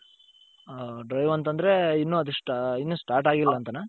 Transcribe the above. drive ಅಂತoದ್ರೆ ಇನ್ನು ಅದು start ಆಗಿಲ್ಲ ಅಂತಾನ?